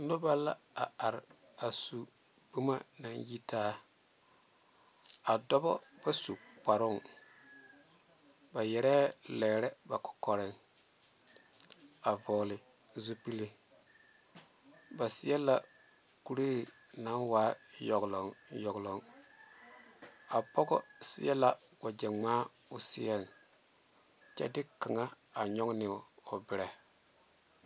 Noba la a are su boma a are a dɔbo ba su kaŋe zaa ba yɛrɛ lɛɛ ba kɔkɔreŋ a vɔle zu pele ba su la kura naŋ e yoŋeloŋ a pɔge seɛ la wagye ŋma o seɛ kyɛ de kaŋa a nyɔge ne o meŋ.